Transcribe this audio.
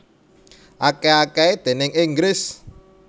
Akèh akèhé déning Inggris